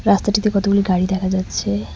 রাস্তাটিতে কতগুলি গাড়ি দেখা যাচ্ছে।